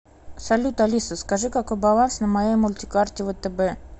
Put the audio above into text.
салют алиса скажи какой баланс на моей мультикарте втб